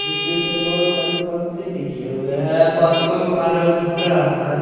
इसमें से बहुत सारे पत्ते निकले हुए हैं पत्तों का रंग हरा है।